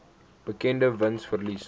berekende wins verlies